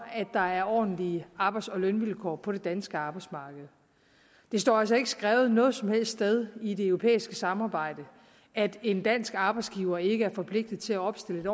der er ordentlige arbejds og lønvilkår på det danske arbejdsmarked det står altså ikke skrevet noget som helst sted i det europæiske samarbejde at en dansk arbejdsgiver ikke er forpligtet til at opstille et